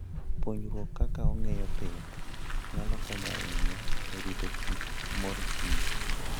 Puonjruok kaka ong'eyo pith nyalo konyo ahinya e rito kit mor kich.